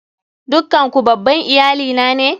Dukkan ku babban iyali na ne?